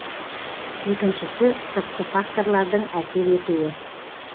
екіншісі сыртқы факторлардың әсер етуі